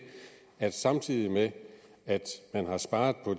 at samtidig med at man har sparet på